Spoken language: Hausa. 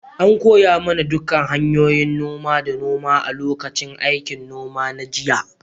An koya mana dukkan hanyoyin noma da noma a lokacin aikin noma na jiya.